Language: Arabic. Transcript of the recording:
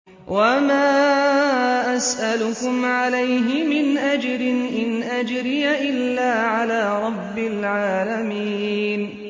وَمَا أَسْأَلُكُمْ عَلَيْهِ مِنْ أَجْرٍ ۖ إِنْ أَجْرِيَ إِلَّا عَلَىٰ رَبِّ الْعَالَمِينَ